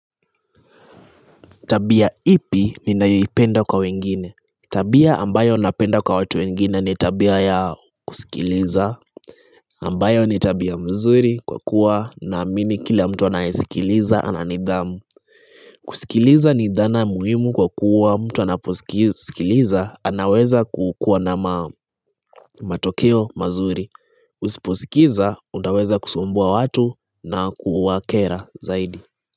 Tabia ipi ninayoipenda kwa wengine? Tabia ambayo napenda kwa watu wengine ni tabia ya kusikiliza. Ambayo ni tabia mzuri kwa kuwa naamini kila mtu anayesikiliza ana nidhamu. Kusikiliza ni dhana muhimu kwa kuwa mtu anaposikiliza anaweza kukuwa na matokeo mazuri. Usiposikiza, unaweza kusumbua watu na kuwakera zaidi.